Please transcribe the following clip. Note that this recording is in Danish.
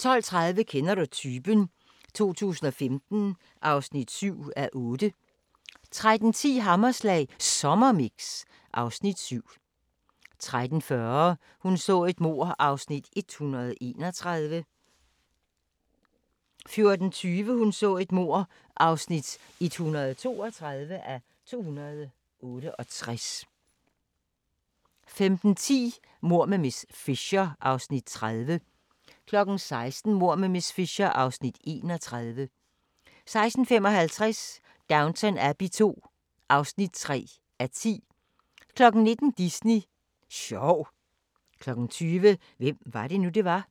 12:30: Kender du typen? 2015 (7:8) 13:10: Hammerslag Sommermix (Afs. 7) 13:40: Hun så et mord (131:268) 14:20: Hun så et mord (132:268) 15:10: Mord med miss Fisher (Afs. 30) 16:00: Mord med miss Fisher (Afs. 31) 16:55: Downton Abbey II (3:10) 19:00: Disney sjov 20:00: Hvem var det nu, vi var?